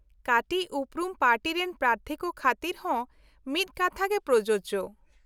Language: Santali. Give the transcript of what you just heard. -ᱠᱟᱹᱴᱤᱪ ᱩᱯᱨᱩᱢ ᱯᱟᱨᱴᱤ ᱨᱮᱱ ᱯᱨᱟᱨᱛᱷᱤ ᱠᱚ ᱠᱷᱟᱹᱛᱤᱨ ᱦᱚᱸ ᱢᱤᱫ ᱠᱟᱛᱷᱟᱜᱮ ᱯᱨᱚᱡᱳᱡᱚ ᱾